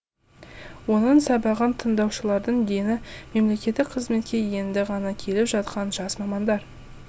оның сабағын тыңдаушылардың дені мемлекеттік қызметке енді ғана келіп жатқан жас мамандар